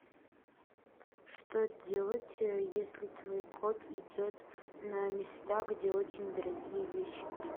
что делать если твой кот идет на места где очень дорогие вещи